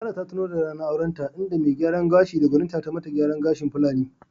Sarah ta tuno da ranar aurenta, inda mai gyaran gashi da gwaninta tayi ma ta gyaran gashi na Fulani.